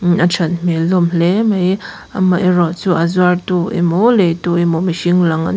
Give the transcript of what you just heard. a that hmel hlawm hle mai amaherawhchu a zuartu emaw lei tu emaw mihring lang an--